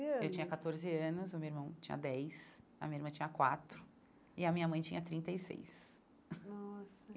Anos Eu tinha catorze anos, o meu irmão tinha dez, a minha irmã tinha quatro, e a minha mãe tinha trinta e seis. Nossa